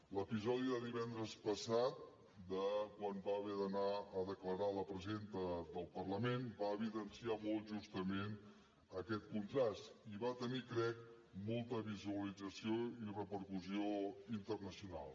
l’episodi de divendres passat de quan va haver d’anar a declarar la presidenta del parlament va evidenciar molt justament aquest contrast i va tenir crec molta visualització i repercussió internacional